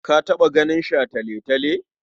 Ka taɓa ganin shataletale?